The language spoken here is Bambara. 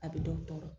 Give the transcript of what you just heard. A bɛ dɔ tɔɔrɔ